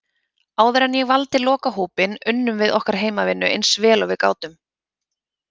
Áður en ég valdi lokahópinn, unnum við okkar heimavinnu eins vel og við gátum.